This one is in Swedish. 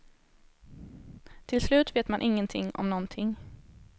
Till slut vet man ingenting om nånting.